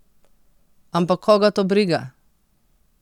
Ampak koga to briga!